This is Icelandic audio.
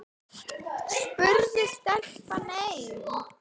spurði stelpan enn.